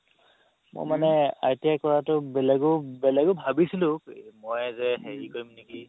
মই মানে ITI কৰাতো বেলেগও বেলেগও ভাবিছিলো মই যে হেৰি কৰিম নেকি